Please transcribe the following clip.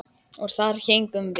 Og þar héngum við.